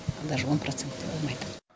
даже он проценті де болмайды